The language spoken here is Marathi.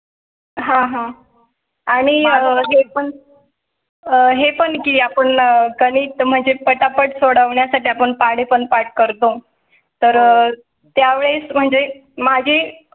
हां हां आणि हे पण आहे पण की आपण कधीच म्हणजे पटा पट सोडवण्या साठी आपण पाढे. पण पाठ करतो तर त्यावेळेस म्हणजे माझी